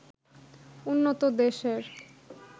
উন্নত দেশের